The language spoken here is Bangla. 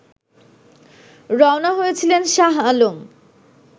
রওনা হয়েছিলেন শাহ আলম